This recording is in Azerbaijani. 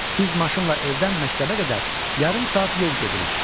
Biz maşınla evdən məktəbə qədər yarım saat yol gedirik.